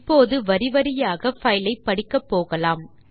இப்போது வரி வரியாக பைல் ஐ படிக்கப் போகலாம்